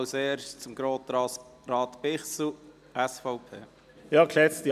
Als Erster hat Grossrat Bichsel von der SVP das Wort.